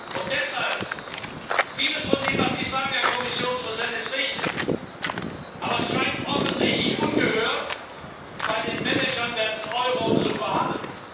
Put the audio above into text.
Und deshalb Vieles von dem, was Sie sagen, Herr Kommissionspräsident, ist richtig, aber es scheint offensichtlich ungehört bei den Managern des Euro zu verhallen.